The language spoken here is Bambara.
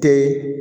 Tɛ ye